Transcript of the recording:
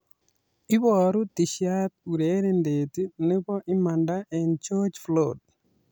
Iboru tishat urerindet nebo "imanda en George Floyd"